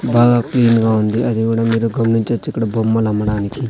బాగా క్లీన్ గా ఉంది అది గూడా మీరు గమనించొచ్చు ఇక్కడ బొమ్మలమ్మడానికి.